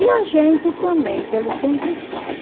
E a gente também, que ele sempre fala.